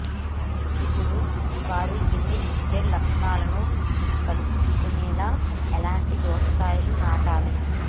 ఇప్పుడు వారు అన్ని లిస్టెడ్ లక్షణాలను కలుసుకునేలా ఎలాంటి దోసకాయలు నాటాలి